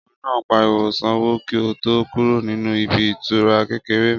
Ọkùnrin náà pariwo Sanwó kí o tó kúrò nínú ibi ìtura kékeré mi